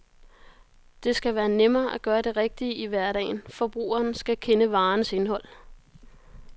Det skal være nemmere at gøre det rigtige i hverdagen, forbrugeren skal kende varernes indhold.